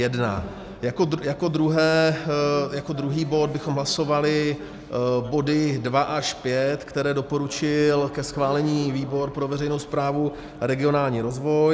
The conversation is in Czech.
Jako druhý bod bychom hlasovali body 2 až 5, které doporučil ke schválení výbor pro veřejnou správu a regionální rozvoj.